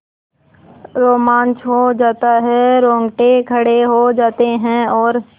रोमांच हो आता है रोंगटे खड़े हो जाते हैं और